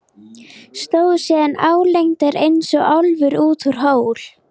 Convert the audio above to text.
Stóð síðan álengdar eins og álfur út úr hól.